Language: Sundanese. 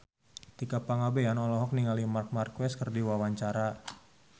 Tika Pangabean olohok ningali Marc Marquez keur diwawancara